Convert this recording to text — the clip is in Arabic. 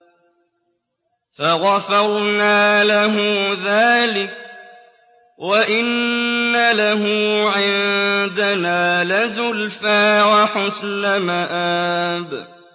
فَغَفَرْنَا لَهُ ذَٰلِكَ ۖ وَإِنَّ لَهُ عِندَنَا لَزُلْفَىٰ وَحُسْنَ مَآبٍ